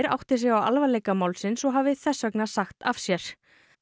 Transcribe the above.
átti sig á alvarleika málsins og hafi þess vegna sagt af sér